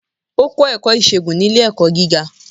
O kọ ẹkọ isègún ni ile-ẹkọ giga